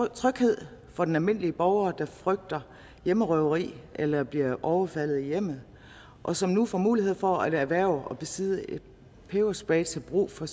tryghed for den almindelige borger der frygter hjemmerøveri eller bliver overfaldet i hjemmet og som nu får mulighed for at erhverve og besidde en peberspray til brug for